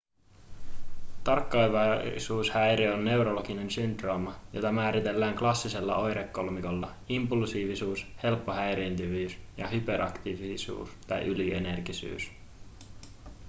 tarkkaavaisuushäiriö on neurologinen syndrooma jota määritellään klassisella oirekolmikolla impulsiivisuus helppo häiriintyvyys ja hyperaktiivisuus tai ylienergisyys